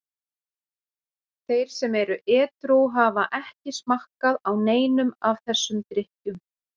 Þeir sem eru edrú hafa ekki smakkað á neinum af þessum drykkjum.